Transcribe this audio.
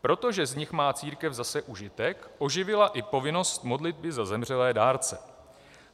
Protože z nich má církev zase užitek, oživila i povinnost modlitby za zemřelé dárce.